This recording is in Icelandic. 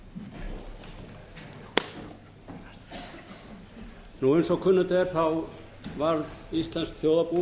máli mínu eins og kunnugt er varð íslenskt þjóðarbú